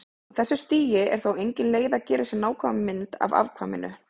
Á þessu stigi er þó engin leið að gera sér nákvæma mynd af afkvæminu.